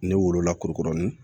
Ne wolo la kurukurunin